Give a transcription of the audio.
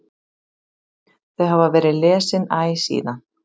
Þau hafa verið lesin æ síðan.